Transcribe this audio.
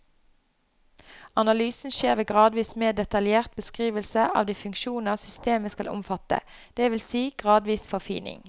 Analysen skjer ved gradvis mer detaljert beskrivelse av de funksjoner systemet skal omfatte, det vil si gradvis forfining.